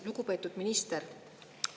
Lugupeetud minister!